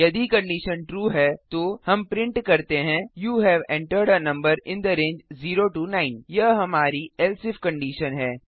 यदि condition true है तो हम प्रिंट करते हैं you have entered a number in the range of 0 9 यह हमारी else इफ कंडिशन है